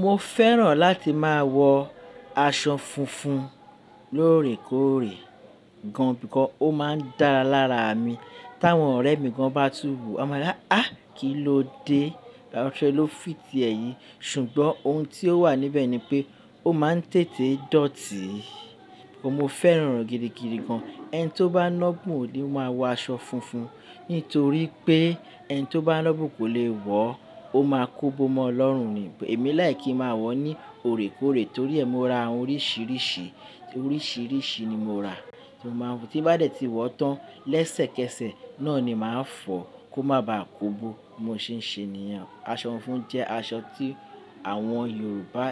Mo fẹ́ràn láti máa wọ aṣọ funfun lóòrèkóòrè gan, bikọ ó máa dára lára mi. Tí àwọn ọ̀rẹ́ mi gan bá tú wo, a máa ni ha á, kí ló dé? Á, aṣọ ẹ ló fìtì ẹ́ yìí. Ṣùgbọ́n ohun tí ó wà níbẹ̀ ni pé ó máa ń tètè dọ̀tí. Ó mo fẹ́ràn rẹ̀ girigiri gan. Ẹni tó bá lọ́bùn ò le máa wọ aṣọ funfun, nítorí pé ẹni tó bá lọ́bùn kò lè wọ̀ ọ́, ó máa kó bó mọ́ lọ́run ni. Èmi like kí n máa wọ̀ ọ́ ní òrèkóòrè torí ẹ́ mo ra oríṣiríṣi, oríṣiríṣi ni mo ra tí mo máa ń mú, tí bá dẹ̀ tí wọ̀ọ́ tán lẹ́sẹ̀kẹsẹ̀ náà ni màá fọ̀ kó má bá kò bó. Mo ṣé ń ṣe nìyẹn. Aṣọ funfun jẹ́ aṣọ tí àwọn Yorùbá